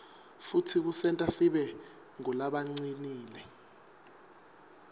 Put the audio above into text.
futsi kusenta sibe ngulabacinile